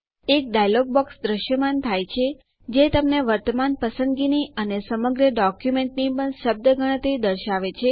એક dialog box દ્રશ્યમાન થાય છે જે તમને વર્તમાન પસંદગીની અને સમગ્ર ડોક્યુમેન્ટની પણ શબ્દ ગણતરી દર્શાવે છે